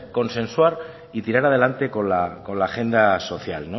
consensuar y tirar adelante con la agenda social